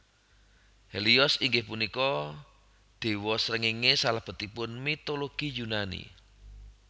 Helios inggih punika déwa srengéngé salebetipun mitologi Yunani